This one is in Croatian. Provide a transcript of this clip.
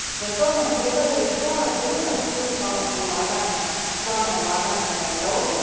Za to nam trebaju i dva druga stupa plana ulaganja za Europu.